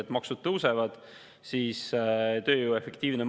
Eestil on riigivõlg 18,4%, aga millegipärast me oleme selles õnneindeksi tabelis 36. kohal.